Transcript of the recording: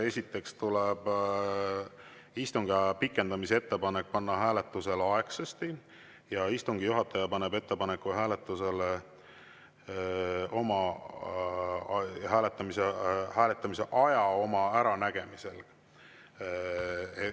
Esiteks tuleb istungiaja pikendamise ettepanek panna hääletusele aegsasti ja istungi juhataja paneb ettepaneku hääletuse aja oma äranägemisel.